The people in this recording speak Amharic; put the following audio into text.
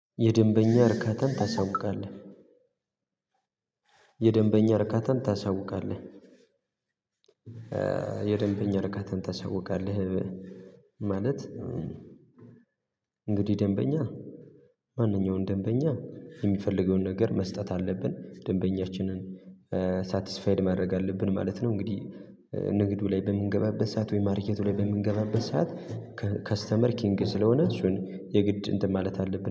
የደንበኛ እርከትን ታሳውቃለህ የደንበኛ እርከትን ታሳውቃለህ የደንበኛ እርካታን ታሳውቃለህ። ማለት እንግዲህ ደንበኛ ማንኛውንም ደንበኛ የሚፈልገውን ነገር መስጠት አለብን ደንበኛችንን ሳትስፋይድ ማድረግ አለብን ማለት ነው። እንግዲህ ንግዱ ላይ በምንገባበት ሰዓት ወይ ማርኬቱ ላይ በምንገባበት ሰዓት። ከስተመር ኪንግ ስለሆነ እሱን የግድ እንትን ማለት አለብን